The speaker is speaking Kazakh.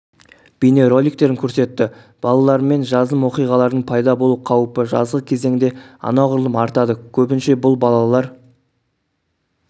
бейнероликтерін көрсетті балалармен жазым оқиғалардың пайда болу қаупі жазғы кезеңде анағұрлым артады көбінше бұл балалар